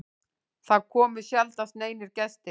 Það komu sjaldnast neinir gestir.